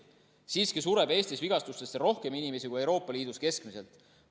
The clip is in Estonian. Siiski sureb Eestis vigastustesse rohkem inimesi kui Euroopa Liidus keskmiselt.